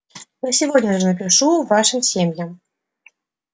я сегодня же напишу вашим семьям